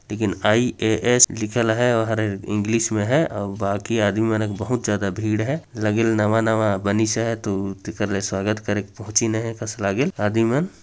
लेकिन I A S लिखल हय अउ हर इंग्लिश में हय अउ बाकि आदमी मन बहुत ज्यादा भीड़ हय लगिल नवा - नवा बनिस हय तो तेकर ले स्वागत करेक पहुंचिन हय कस लागेल आदमी मन --